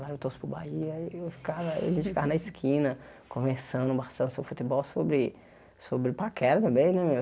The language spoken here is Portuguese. Lá eu torço pro Bahia e eu ficava a gente ficava na esquina conversando bastante sobre futebol, sobre sobre paquera também, né, meu?